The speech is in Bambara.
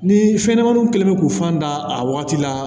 Ni fɛnɲɛnɛmaninw kɛlen bɛ k'u fan da a wagati la